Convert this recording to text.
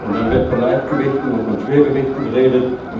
Dann wird von Leichtgewichten und von Schwergewichten geredet.